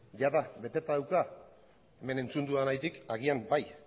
jada beteta dauka hemen entzun dudanagatik agian bai